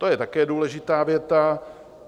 To je také důležitá věta.